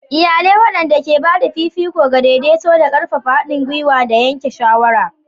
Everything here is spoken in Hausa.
Iyalai waɗanda ke ba da fifiko ga daidaito da ƙarfafa haɗin gwiwa da yanke shawara.